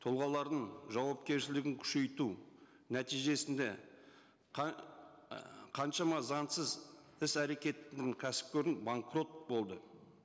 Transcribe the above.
тұлғалардың жауапкершілігін күшейту нәтижесінде ы қаншама заңсыз іс әрекетінең кәсіпорын банкрот болды